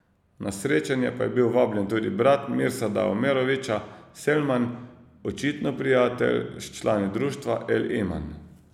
Na srečanje pa je bil vabljen tudi brat Mirsada Omerovića, Selman, očitno prijatelj s člani društva El Iman.